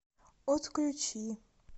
отключи